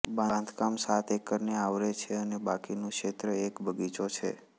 બાંધકામ સાત એકરને આવરે છે અને બાકીનું ક્ષેત્ર એક બગીચો છે